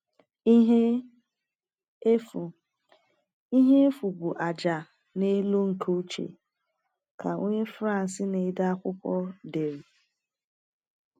“Ihe efu “Ihe efu bụ ájá na-elo nke uche,” ka onye France na-ede akwụkwọ dere.